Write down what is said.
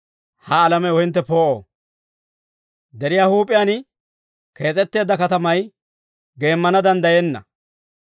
«Ha alamew hintte poo'o; deriyaa huup'iyaan kees'etteedda katamay geemmana danddayenna.